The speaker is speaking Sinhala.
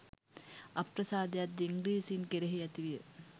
අප්‍රසාදයක්ද ඉංග්‍රීසීන් කෙරෙහි ඇති විය